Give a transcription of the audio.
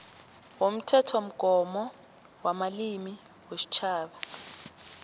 womthethomgomo wamalimi wesitjhaba